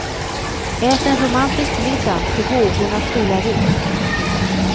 Ät en romantisk middag till vågornas stilla rytm.